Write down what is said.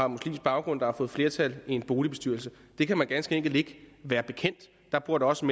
muslimsk baggrund der har fået flertal i en boligbestyrelse det kan man ganske enkelt ikke være bekendt der bor da også